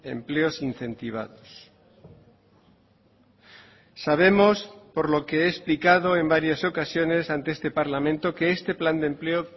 empleos incentivados sabemos por lo que he explicado en varias ocasiones ante este parlamento que este plan de empleo